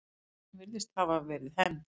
Árásin virðist hafa verið hefnd.